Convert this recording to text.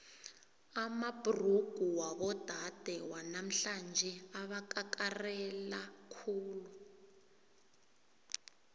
amabhrugu wabodade wanamhlanje abakakarela khulu